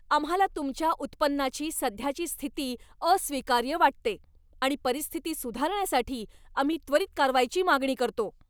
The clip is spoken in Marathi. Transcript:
आम्हाला तुमच्या उत्पन्नाची सध्याची स्थिती अस्वीकार्य वाटते आणि परिस्थिती सुधारण्यासाठी आम्ही त्वरीत कारवाईची मागणी करतो.